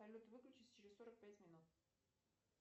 салют выключись через сорок пять минут